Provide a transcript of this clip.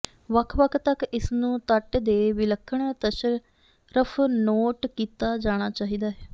ਵੱਖ ਵੱਖ ਤੱਕ ਇਸ ਨੂੰ ਤੱਟ ਦੇ ਵਿਲੱਖਣ ਟਸਰਫ਼ ਨੋਟ ਕੀਤਾ ਜਾਣਾ ਚਾਹੀਦਾ ਹੈ